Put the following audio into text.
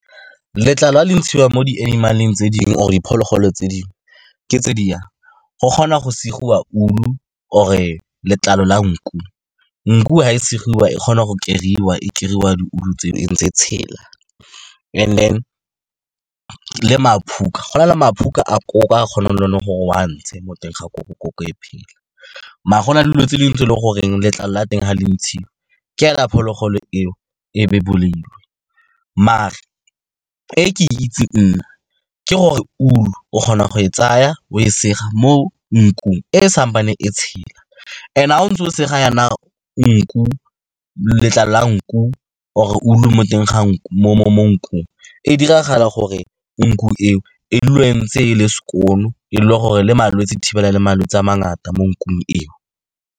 Letlalo ga le ntshiwa mo di-animal-eng tse dingwe, or diphologolo tse dingwe ke tse di yana, go kgona go segiwa wool-u or-e letlalo la nku. Nku ga e segiwa, e kgona go keriwa, e keriwa di-wool-u tseo e ntse e tshela. And then le maphuka, go na le maphuka a koko a o kgonang le gore o a ntshe mo teng ga koko, koko e phela, mare gona dilo tse dingwe tse e leng gore letlalo la teng ga le ntshiwa ke ga phologolo e o e be e bolailwe. Mare e ke e itseng nna, ke gore wool-u o kgona go e tsaya, o e sega mo nkung e e sa e tshela, and ga o ntse o sega yana letlalo la nku or-e wool-u mo teng ga mo nkung, e diragala gore nku e o e dule e ntse e le skoon, e le gore le malwetse, e thibela le malwetse a mangata mo nkung eo.